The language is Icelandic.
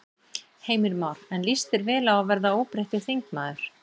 Heimir Már: En líst þér vel á að verða óbreyttur þingmaður?